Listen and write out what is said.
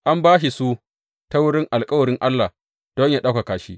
An ba shi su ta wurin alkawarin Allah don yă ɗaukaka shi.